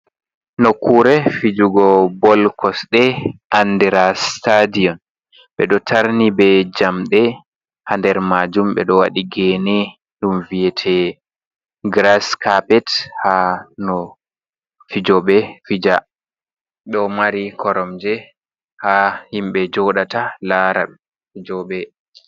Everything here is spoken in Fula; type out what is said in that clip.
Nokkure fijugo bol kosɗe andira sitadion, ɓe ɗo tarni be jamɗe, haa nder majum ɓe ɗo waɗi gene ɗum viyete giras kapet ha no fijobe fija, ɗo mari korom je ha himɓe joɗata lara fijoɓe.